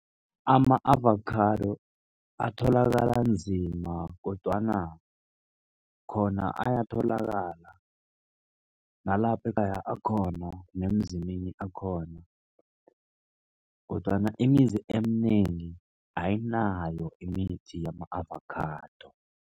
Ama-avocado atholakala nzima kodwana khona ayatholakala nalapha ekhaya akhona nemzini eminye akhona kodwana imizi eminengi ayinayo imithi yama-avocado.